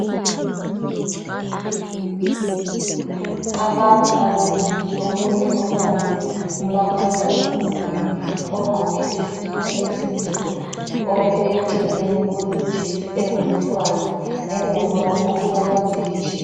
Abantu ababili omunye ubambe umakhala ekhukhwini ogqoke isikipa esimhlophe ome eceleni ulejesi engumhlwazi ngemva kwabo kulama ditshi.